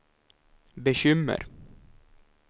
bekymmer